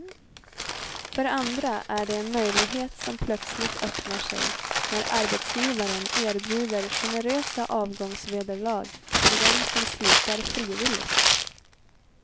För andra är det en möjlighet som plötsligt öppnar sig när arbetsgivaren erbjuder generösa avgångsvederlag till dem som slutar frivilligt.